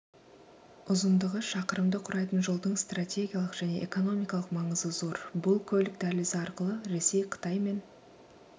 ұзындығы шақырымды құрайтын жолдың стратегиялық және экономикалық маңызы зор бұл көлік дәлізі арқылы ресей қытай мен